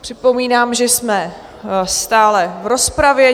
Připomínám, že jsme stále v rozpravě.